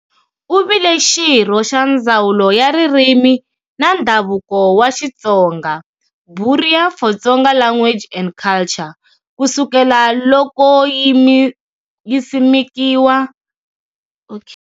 Uvile xirho xa "Ndzawulo ya Ririmi na Ndhavuko wa Xitsonga","Bureau for Tsonga Language and Culture", kusukela loko yisimekiwa.